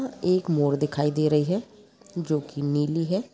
एक मोर दिखाई दे रही है जोकी निली है।